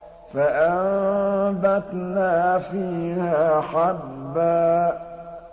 فَأَنبَتْنَا فِيهَا حَبًّا